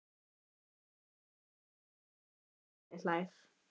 Raggi heldur um magann og skelli hlær.